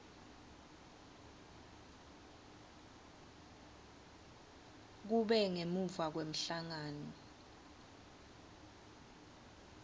kube ngemuva kwemhlangano